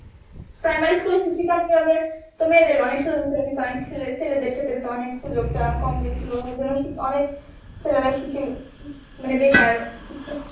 primary school এ শিক্ষিকা নিযোগএর তো মেয়েদেরই অনেক সুযোগ দিচ্ছিল কিন্তু অনেক ছেলেদের ক্ষেত্রে তো অনেক সুযোগটা কম দিইসিল অনেক ছেলেরাই শিখে~ মানে বেকার.